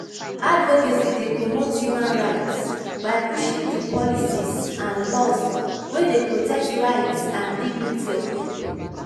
advocacy dey promote human rights by pushing for di policies and laws wey dey protect rights and dignity of people.